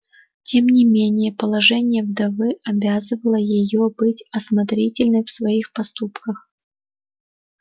тем не менее положение вдовы обязывало её быть осмотрительной в своих поступках